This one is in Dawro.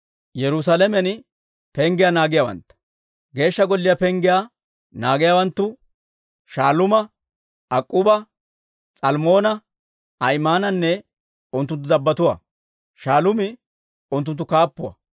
Geeshsha Golliyaa penggiyaa naagiyaawanttu Shaaluuma, Ak'k'uuba, S'almmoona, Ahimaananne unttunttu dabbotuwaa. Shaaluumi unttunttu kaappuwaa.